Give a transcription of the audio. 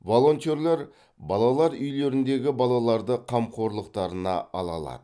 волонтерлер балалар үйлеріндегі балаларды қамқорлықтарына ала алады